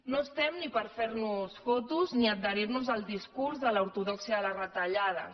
no estem ni per fer nos fotos ni adherir nos al discurs de l’ortodòxia de les retallades